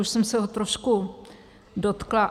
Už jsem se ho trošku dotkla.